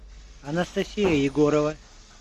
анастасия егорова